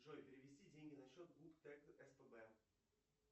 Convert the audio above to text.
джой перевести деньги на счет гуп тэк спб